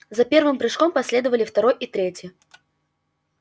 за первым прыжком последовали второй и третий